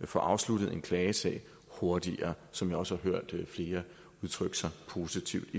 at få afsluttet en klagesag hurtigere som vi også har hørt flere udtrykke sig positivt